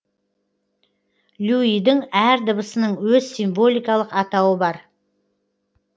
люйдің әр дыбысының өз символикалық атауы бар